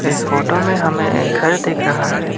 इस फोटो में हमें एक घर दिख रहा है।